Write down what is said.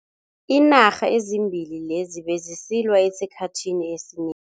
Iinarha ezimbili lezi bezisilwa esikhathini esineng.